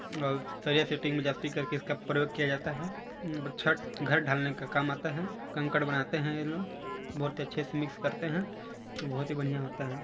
और सरिया सिटींग में करके इसका प्रयोग किया जाता है छत घर डालने का काम आता है कंकड़ बनाते हैं यह लोग बहुत अच्छे से मिक्स करते हैं बहुत ही बढ़िया होता हैं।